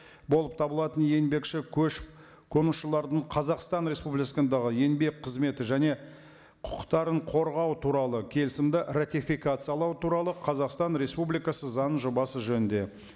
болып табылатын еңбекші көшіп қонушылардың қазақстан республикасындағы еңбек қызметі және құқықтарын қорғау туралы келісімді ратификациялау туралы қазақстан республикасы заңының жобасы жөнінде